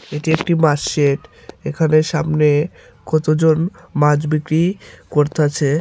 এটি একটি বাঁশ শেড এখানে সামনে কতজন মাছ বিক্রি করতাছে।